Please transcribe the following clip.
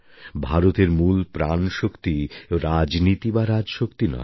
ভারতের মূল প্রাণশক্তি রাজনীতি বা রাজশক্তি নয়